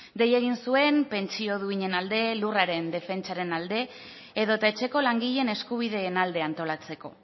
dei egin zuen pentsio duinen alde lurraren defentsaren alde edota etxeko langileen eskubideen alde antolatzeko